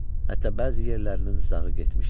Hətta bəzi yerlərinin zağı getmişdi.